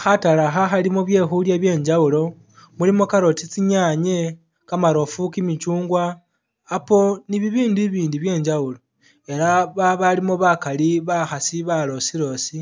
Khatale akha khalimo byekhulya byenjawulo, mulimo carrot, tsi'nyanye, kamarofu, kimichungwa, Apple ni bibindu ibindi byenjawulo ela babalimo bakali bakhasi balosi losi